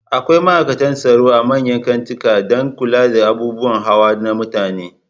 Akwai ma'aikatan tsaro a manyan kantikan dan kula da abubuwan hawa na mutane